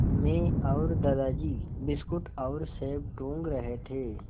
मैं और दादाजी बिस्कुट और सेब टूँग रहे थे